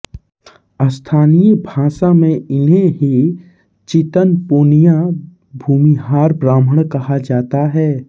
स्थानीय भाषा में इन्हें ही चितपौनिया भूमिहार ब्राह्मण कहा जाता है